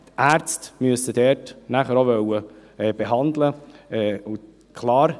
Die Ärzte müssen dort nachher auch behandeln wollen.